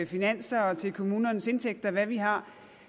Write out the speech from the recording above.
finanser og til kommunernes indtægter og hvad vi har